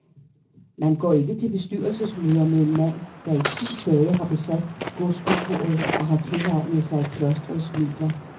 Man går ikke til bestyrelsesmøder med en mand, der i ti dage har besat godskontoret og har tilegnet sig klostrets midler.